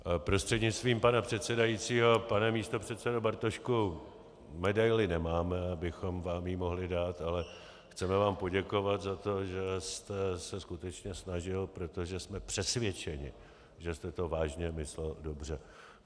Prostřednictvím pana předsedajícího pane místopředsedo Bartošku, medaili nemáme, abychom vám ji mohli dát, ale chceme vám poděkovat za to, že jste se skutečně snažil, protože jsme přesvědčeni, že jste to vážně myslel dobře.